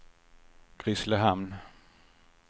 Grisslehamn